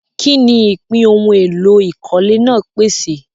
Kí ni ìpín ohun èlò ìkọ́lé náà pèsè?